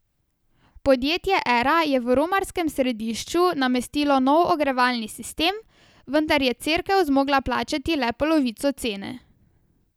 Podjetje Era je v romarskem središču namestilo nov ogrevalni sistem, vendar je Cerkev zmogla plačati le polovico cene.